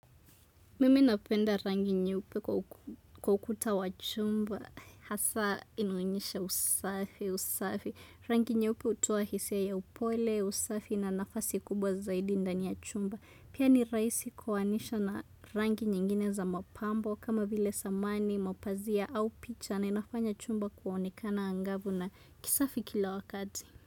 Mimi napenda rangi nyeupe kwa ukuta wa chumba, hasa inaonyesha usafi, usafi. Rangi nyeupe hutoa hisia ya upole, usafi na nafasi kubwa zaidi ndani ya chumba. Pia ni raisi kuoanisha na rangi nyingine za mapambo, kama vile samani, mapazia au picha na inafanya chumba kuonekana angavu na kisafi kila wakati.